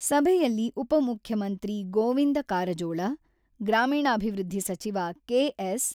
ಸಭೆಯಲ್ಲಿ ಉಪಮುಖ್ಯಮಂತ್ರಿ ಗೋವಿಂದ ಕಾರಜೋಳ, ಗ್ರಾಮೀಣಾಭಿವೃದ್ಧಿ ಸಚಿವ ಕೆ.ಎಸ್.